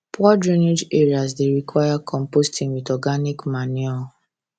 poor drainage areas dey require composting with organic manure